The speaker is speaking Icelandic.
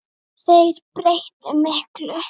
En þeir breyttu miklu.